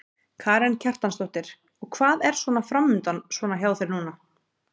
Karen Kjartansdóttir: Og hvað er svona framundan svona hjá þér núna?